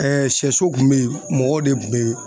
siyɛso kun bɛ yen mɔgɔw de kun bɛ yen.